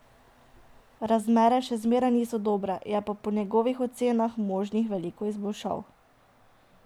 Razmere še zmeraj niso dobre, je pa po njegovih ocenah možnih veliko izboljšav.